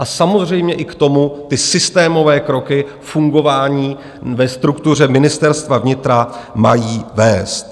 A samozřejmě i k tomu ty systémové kroky fungování ve struktuře Ministerstva vnitra mají vést.